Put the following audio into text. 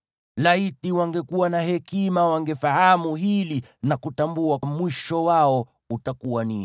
Laiti wangekuwa na hekima wangefahamu hili, na kutambua mwisho wao utakuwa aje!